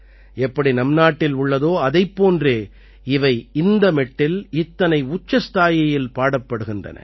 எப்படி நம் நாட்டில் உள்ளதோ அதைப் போன்றே இவை இந்த மெட்டில் இத்தனை உச்சஸ்தாயியில் பாடப்படுகின்றன